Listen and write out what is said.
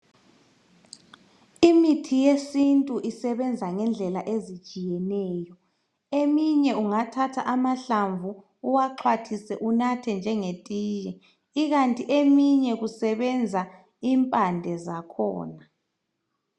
Imithi yesintu isebenza ngendlela ezitshiyeneyo .Eminye ungathatha amahlamvu uwaxhwathise unathe njenge tiye .lkanti eminye kusebenza impande zakhona .